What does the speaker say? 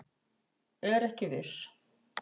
Er ekki viss